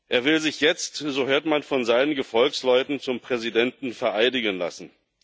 Er will sich jetzt, so hört man, von seinen Gefolgsleuten zum Präsidenten vereidigen lassen.